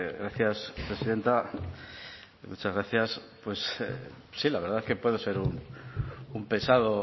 gracias presidenta muchas gracias pues sí la verdad que puedo ser un pesado